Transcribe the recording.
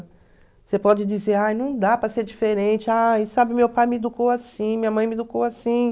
Você pode dizer, ai, não dá para ser diferente, ai sabe, meu pai me educou assim, minha mãe me educou assim.